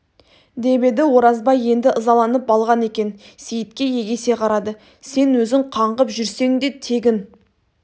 деп еді оразбай енді ызаланып алған екен сейітке егесе қарады сен өзің қаңғып жүрсең де тегін